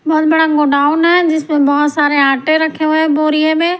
बहुत बड़ा गोडाउन है जिसमें बहुत सारे आटे रखे हुए हैं बोरिए में।